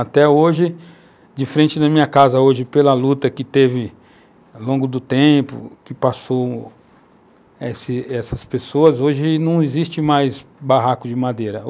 Até hoje, de frente na minha casa, hoje, pela luta que teve ao longo do tempo, que passaram essas pessoas, hoje não existe mais barracos de madeira.